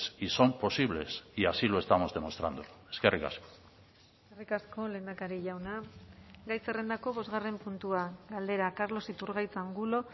y son posibles y así lo estamos demostrando eskerrik asko eskerrik asko lehendakari jauna gai zerrendako bosgarren puntua galdera carlos iturgaiz angulo